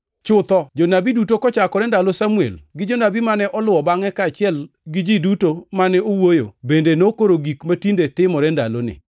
“Chutho, jonabi duto, kochakore ndalo Samuel gi jonabi mane oluwo bangʼe kaachiel gi ji duto mane owuoyo, bende nokoro gik matinde timore ndaloni.